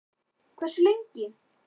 Fréttamaður: Hversu lengi?